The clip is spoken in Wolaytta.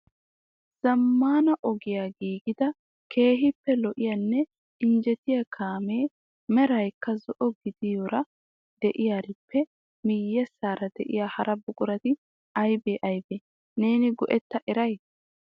Zammaana ogiya giigida keehippe lo"iyanne injjetiya kaamiya meraykka zo"o gidiyoora de'iyaarippe miyyeessara de'iyaa hara buqurati aybbe aybbe? Neeni go"etta eray?